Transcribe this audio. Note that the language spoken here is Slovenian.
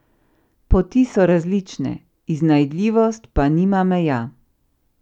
Poti so različne, iznajdljivost pa nima meja.